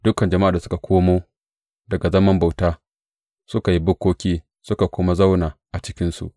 Dukan jama’ar da suka komo daga zaman bauta suka yi bukkoki suka kuma zauna a cikinsu.